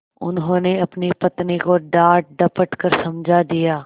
उन्होंने अपनी पत्नी को डाँटडपट कर समझा दिया